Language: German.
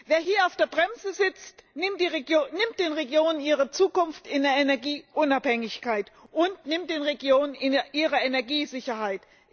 Wer hier auf der Bremse sitzt, nimmt den Regionen ihre Zukunft in der Energieunabhängigkeit und nimmt den Regionen ihre Energiesicherheit.